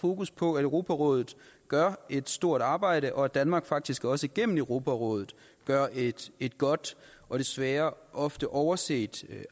fokus på at europarådet gør et stort arbejde og at danmark faktisk også igennem europarådet gør et et godt og desværre ofte overset